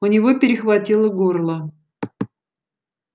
у него перехватило горло